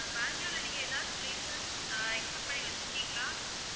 அஹ் பேங்களூர்ல நீங்க எதாவது places அஹ் expect பண்ணி வெச்சிருக்கீங்களா?